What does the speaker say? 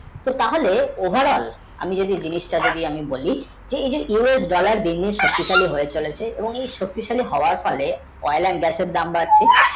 তো তাহলে over all আমি যদি জিনিষ টা যদি আমি বলি যে U S dollar শক্তি শালী হয়ে চলেছে এবং এই শক্তিশালী হওয়ার ফলে oil and gas এর দাম বাড়ছে